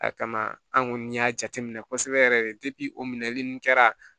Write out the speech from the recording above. A kama an kɔni y'a jate minɛ kosɛbɛ yɛrɛ de o minɛli ninnu kɛra